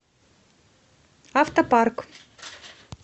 автопарк